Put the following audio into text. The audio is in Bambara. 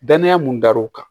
Danaya mun dar'u kan